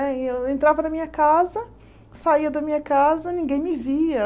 Né e eu entrava na minha casa, saía da minha casa, ninguém me via.